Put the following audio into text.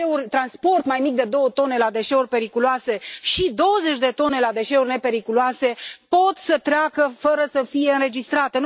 Transporturile mai mici de două tone de deșeuri periculoase și douăzeci de tone de deșeuri nepericuloase pot să treacă fără să fie înregistrate.